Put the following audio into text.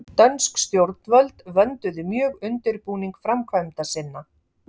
dönsk stjórnvöld vönduðu mjög undirbúning framkvæmda sinna